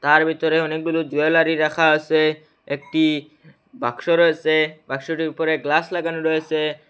তার ভিতরে অনেকগুলো জুয়েলারি রাখা আসে একটি বাক্স রয়েসে বাক্সটির উপরে গ্লাস লাগানো রয়েসে।